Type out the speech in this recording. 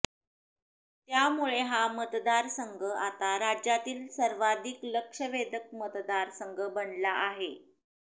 त्यामुळे हा मतदारसंघ आता राज्यातील सर्वाधिक लक्षवेधक मतदारसंघ बनला आहे